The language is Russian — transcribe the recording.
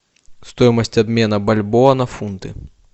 стоимость обмена бальбоа на фунты